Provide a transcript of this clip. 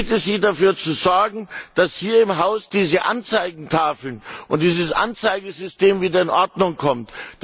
Ich bitte Sie, dafür zu sorgen, dass hier im Haus diese Anzeigetafeln und dieses Anzeigesystem wieder in Ordnung kommen.